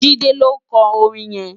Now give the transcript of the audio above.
Jide ló nkò órin yèn